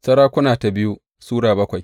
biyu Sama’ila Sura bakwai